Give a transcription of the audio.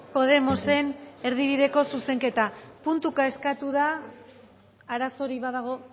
podemosen erdibideko zuzenketa puntuka eskatu da arazorik badago